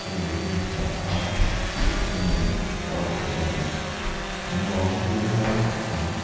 a thenin jeans an ha a a thenin kekawr bul nen a nuam an tih hmel khawp mai.